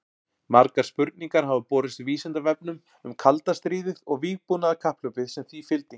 Margar spurningar hafa borist Vísindavefnum um kalda stríðið og vígbúnaðarkapphlaupið sem því fylgdi.